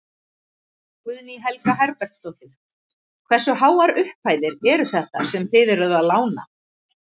Guðný Helga Herbertsdóttir: Hversu háar upphæðir eru þetta sem þið eruð að lána?